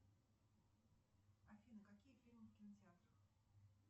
афина какие фильмы в кинотеатрах